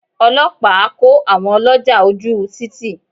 Ọlọ́pàá kó àwọn ọlọ́jà ojú u títì.